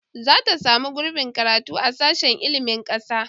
Zata samu gurbin karatu a sashen ilmin kasa